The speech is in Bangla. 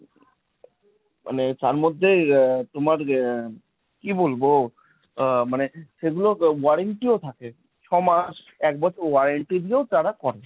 মানে যার মধ্যে আহ তোমার আহ কি বলবো? আহ মানে সেগুলো warranty ও থাকে। ছ মাস, এক বছর warranty দিয়েও তারা করে।